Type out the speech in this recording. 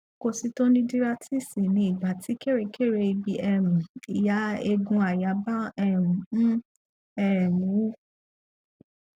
kositonudíráítíìsì ni ìgbà tí kèrékèré ibi um ìhà eegun àyà bá um ń um wú